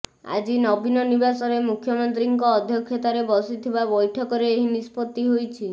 ଆଜି ନବୀନ ନିବାସରେ ମୁଖ୍ୟମନ୍ତ୍ରୀଙ୍କ ଅଧ୍ୟକ୍ଷତାରେ ବସିଥିବା ବୈଠକରେ ଏହି ନିଷ୍ପତ୍ତି ହୋଇଛି